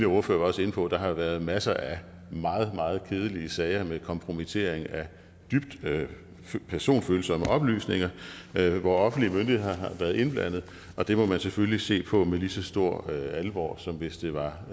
ordfører var også inde på at der har været masser af meget meget kedelige sager med kompromittering af dybt personfølsomme oplysninger hvor offentlige myndigheder har været indblandet og det må man selvfølgelig se på med lige så stor alvor som hvis det var